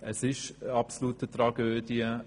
Es ist eine absolute Tragödie.